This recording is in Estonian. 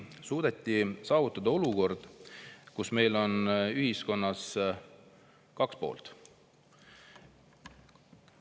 On suudetud saavutada olukord, kus meil on ühiskonnas kaks poolt.